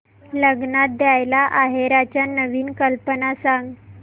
लग्नात द्यायला आहेराच्या नवीन कल्पना सांग